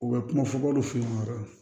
U bɛ kuma fɔbaliw fe yen wa